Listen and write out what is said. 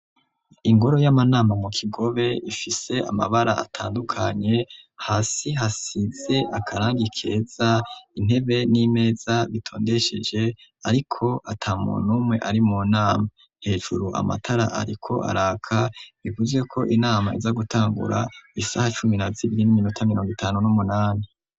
Ingoro y'amanama mu Kigobe ifise amabara atandukanye, hasi hasize akarangi keza, intebe n'imeza bitondesheje ariko ata muntu umwe ari mu nama. Hejuru amatara ariko araka, bivuzwe ko inama iza gutangura isaha cumi na zibiri n'iminota miriongo itanu n'umunani.